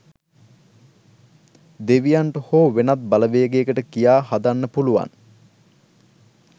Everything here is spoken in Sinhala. දෙවියන්ට හො වෙනත් බලවේගයකට කියා හදන්න පුලුවන්